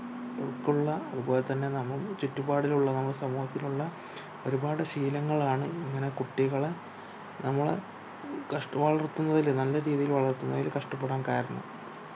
ഉൾക്കുള്ള അതുപോൽത്തന്നെ നമ് ചുറ്റുപാടിലുള്ള നമ്മുടെ സമൂഹത്തിലുള്ള ഒരുപാട് ശീലങ്ങളാണ് ഇങ്ങനെ കുട്ടികളെ നമ്മളെ കഷ്ട് വളർത്തുന്നതില് കഷ്ടപ്പെടാൻ കാരണം